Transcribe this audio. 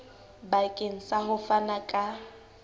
bakeng sa ho fana ka